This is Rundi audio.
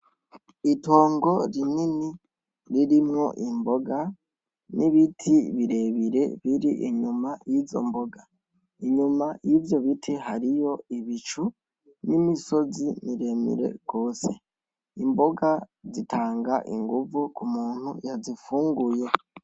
Itongo rinini ririmwo imboga n'ibiti birebire bir'inyuma yizo mboga, inyuma yivyo biti hariyo ibicu n'imisozi miremire gose, imboga zitanga inguvu k'umuntu yazifunguye.